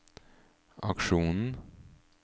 aksjonen